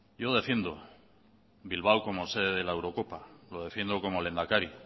yo defiendo bilbao como sede de la eurocopa lo defiendo como lehendakari